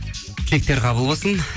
тілектер қабыл болсын